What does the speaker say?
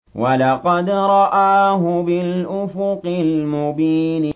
وَلَقَدْ رَآهُ بِالْأُفُقِ الْمُبِينِ